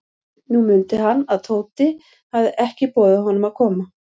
Nú mundi hann, að Tóti hafði ekki boðið honum að koma.